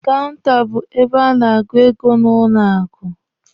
Kaụnta be ebe a na-agụ ego na banki.